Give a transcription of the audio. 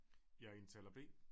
Jeg indtaler B